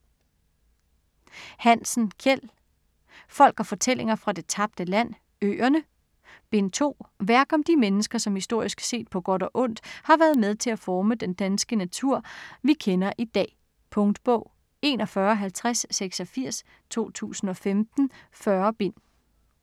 Hansen, Kjeld: Folk & fortællinger fra det tabte land: Øerne Bind 2. Værk om de mennesker, som historisk set, på godt og ondt, har været med til at forme den danske natur vi kender i dag. Punktbog 415086 2015. 40 bind.